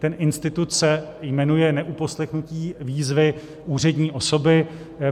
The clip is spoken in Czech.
Ten institut se jmenuje neuposlechnutí výzvy úřední osoby.